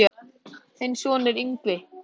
Þinn sonur, Yngvi Þór.